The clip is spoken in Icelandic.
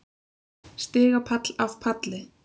Stigapall af palli.